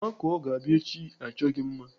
Makụọ ga-abịa echi achọ gị mma.